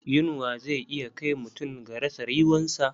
Yunwa zai iya kai mutum ga rasa ryuwansa.